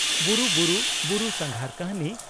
"ᱵᱩᱨᱩ ᱵᱩᱨᱩ" (ᱵᱩᱨᱩ ᱥᱟᱸᱜᱷᱟᱨ ᱠᱟᱹᱦᱱᱤ)